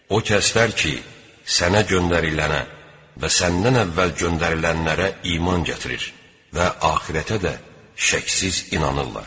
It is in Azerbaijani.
O kəslər ki, Sənə göndərilənə və Səndən əvvəl göndərilənlərə iman gətirir və axirətə də şəksiz inanırlar.